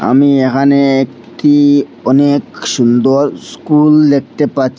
আমি এহানে একটি অনেক সুন্দর স্কুল দেখতে পাছ--